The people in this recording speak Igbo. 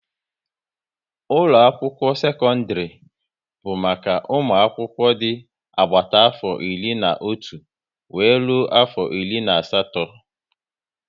Ụlọ akwụkwọ sekọndrị bụ maka ụmụ akwụkwọ dị agbata afọ iri na otu wéré rụọ afọ iri na asatọ